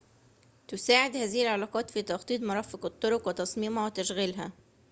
تساعد هذه العلاقات في تخطيط مرافق الطرق وتصميمها وتشغيلها